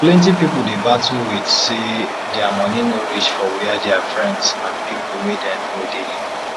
plenty people dey battle with say dia money no reach for wia dia friends and people wey dem know dey